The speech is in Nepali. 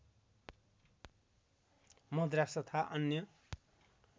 मद्रास तथा अन्य